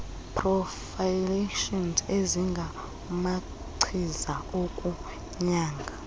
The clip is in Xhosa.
prophylaxis ezingamachiza okunyanga